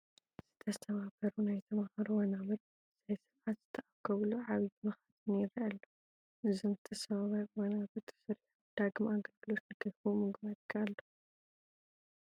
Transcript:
ዝተሰባበሩ ናይ ተመሃሮ ወናብር ብዘይስርዓት ዝተኣከቡሉ ዓብዪ መኻዘን ይርአ ኣሎ፡፡ እዞም ዝተሰበሩ ወናብር ተሰሪሖም ዳግም ኣገልግሎት ንክህቡ ምግባር ይከኣል ዶ?